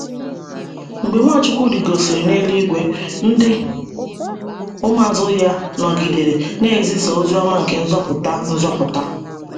Mgbe Nwachukwu rịgosịrị n’eluigwe ,ndi ụmụazụ ya nọgidere na - ezisa ozi ọma nke nzọpụta nzọpụta.